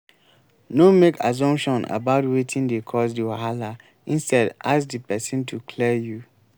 no make assumption about wetin dey cause di wahala instead ask di person to clear you